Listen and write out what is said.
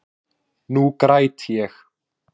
Nú græt ég.